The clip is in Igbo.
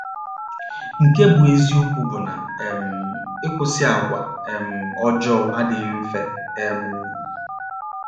Nke bụ́ eziokwu bụ na um ịkwụsị àgwà um ọjọọ adịghị mfe um.